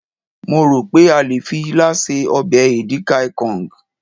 mo ro pe a le fi ila se obe edikaikong